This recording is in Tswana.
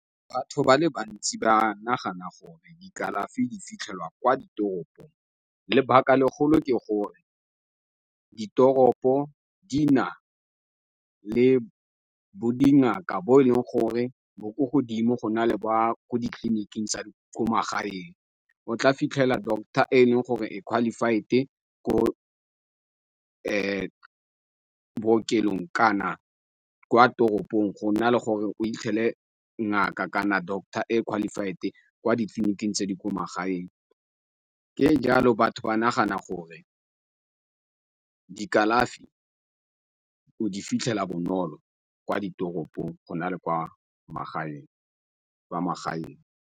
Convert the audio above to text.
Batho ba le bantsi ba nagana gore di kalafi di fitlhelwa kwa ditoropong, lebaka legolo ke gore ditoropo di na le bo dingaka bo e leng gore bo ko godimo, go na le ba ko ditleliniking tsa ko magaeng. O tla fitlhela doctor e leng gore e qualified ko bookelong kana kwa toropong, gona le gore o ngaka kana doctor e qualified kwa ditleliniking tse di ko magaeng. Ka jalo, batho ba nagana gore di kalafi o di fitlhela bonolo kwa ditoropong go na le kwa magaeng.